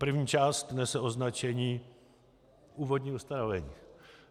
První část nese označení Úvodní ustanovení.